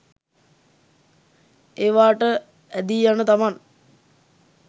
ඒවාට ඇදී යන තමන්